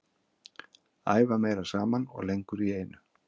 Æfa meira saman og lengur í einu.